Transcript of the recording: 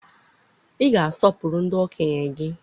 ị ga-asọpụrụ ndị okenye gị!